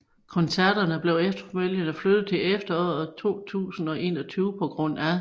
Koncerterne blev efterfølgende flyttet til efteråret 2021 pga